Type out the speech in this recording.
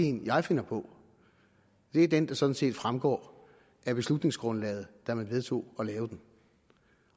en jeg finder på det er den der sådan set fremgår af beslutningsgrundlaget da man vedtog at lave den